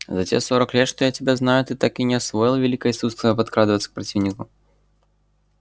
за те сорок лет что я тебя знаю ты так и не освоил великое искусство подкрадываться к противнику